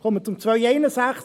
Ich komme zu Artikel 261.